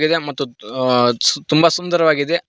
ಇದೆ ಮತ್ತು ತುಆಜ್ ತುಂಬ ಸುಂದರವಾಗಿದೆ.